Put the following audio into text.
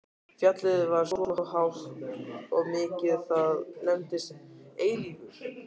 Fjallið var svo hátt og mikið að það nefndist Eilífur.